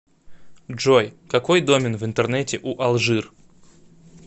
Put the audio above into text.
джой какой домен в интернете у алжир